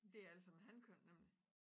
Det alle sammen hankøn nemlig